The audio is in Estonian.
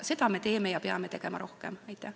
Seda me teeme ja peame rohkem tegema.